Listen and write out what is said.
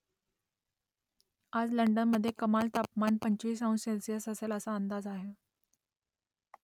आज लंडनमधे कमाल तापमान पंचवीस अंश सेल्सिअस असेल असा अंदाज आहे